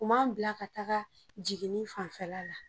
U m'an bila ka taga jiginni fanfɛla la.